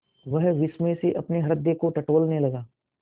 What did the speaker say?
वह विस्मय से अपने हृदय को टटोलने लगा